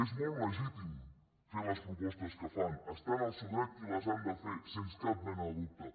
és molt legítim fer les propostes que fan estan en el seu dret i les han de fer sens cap mena de dubte